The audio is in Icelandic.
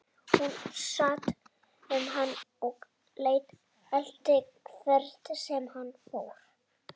Hún sat um hann og elti hvert sem hann fór.